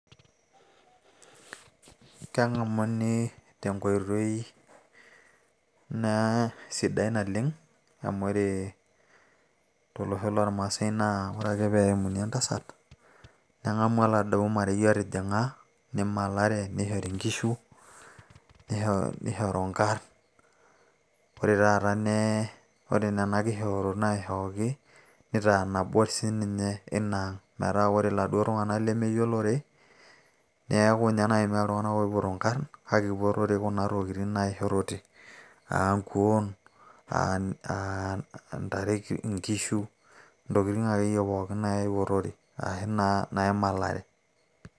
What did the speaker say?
keng'amuni tenkoitoi naa sidai naleng amu ore tolosho lormaasay naa ore ake peeyemuni entasat neng'amu oladuo marei otijing'a nimalare nishori inkishu nishoru inkarn ore taata ne ore nena kishoorot naishooki nitaa nabo siinininye inang metaa ore iladuo tung'anak lemeyiolore neeku ninye naaji meeta iltung'anak oipoto inkarrn kake ipotore kuna tokitin naishorote aa nkuon aa ntare aa nkishu intokitin akeyie pookin naipotore aashu naa naimalare.